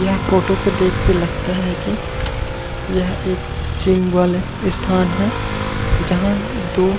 यह फोटो को देख के लगता हे की यह एक चिम्ब्ल हे स्थान हे जहाँ दो--